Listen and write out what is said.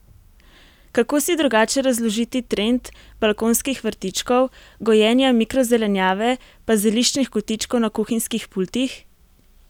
Kako si drugače razložiti trend balkonskih vrtičkov, gojenja mikrozelenjave pa zeliščnih kotičkov na kuhinjskih pultih?